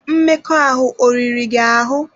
Mmekọahụ ọ riri gị ahụ?